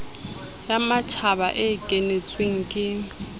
ya matjhaba e kenetsweng ke